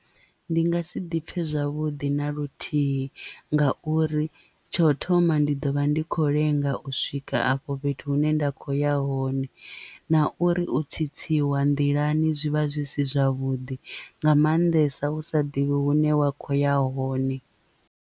Ndi nga si ḓipfe zwavhuḓi na luthihi nga uri tsho thoma ndi ḓo vha ndi kho lenga u swika afho fhethu hune nda kho ya hone na uri u tsitsiwa nḓilani zwi vha zwi si zwavhuḓi nga maanḓesa u sa ḓivhi hune wa kho ya hone.